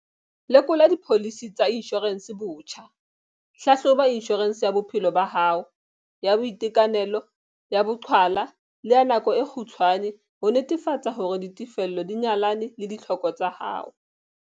Lekola dipholisi tsa inshorense botjha - Hlahloba inshorense ya bophelo ba hao, ya boitekanelo, ya boqhwala le ya nako e kgutshwane ho netefatsa hore ditefello di nyalana le ditlhoko tsa hao.